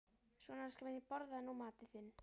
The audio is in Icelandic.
Svona, elskan mín, borðaðu nú matinn þinn.